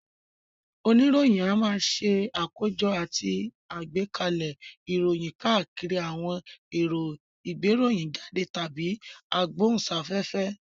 Oníròyìn a máa ṣe àkójọ àti agbẹ́kalẹ̀ ìròyìn káàkiri àwọn èrò ìgbéròyìnjáde tàbí agbóhùnsáfẹ́fẹ́